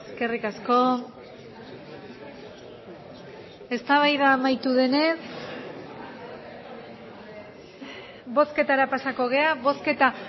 eskerrik asko eztabaida amaitu denez bozketara pasako gara bozketa